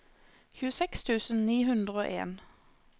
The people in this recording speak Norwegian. tjueseks tusen ni hundre og en